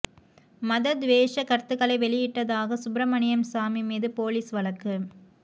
மத துவேஷ கருத்துக்களை வெளியிட்டதாக சுப்பிரமணியம் சாமி மீது போலீஸ் வழக்கு